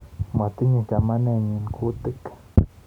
Matinyei chamanennyi kuutik.